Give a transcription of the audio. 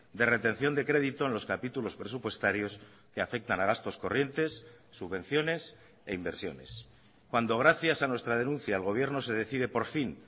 de retención de crédito en los capítulos presupuestarios que afectan a gastos corrientes subvenciones e inversiones cuando gracias a nuestra denuncia el gobierno se decide por fin